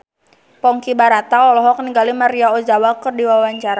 Ponky Brata olohok ningali Maria Ozawa keur diwawancara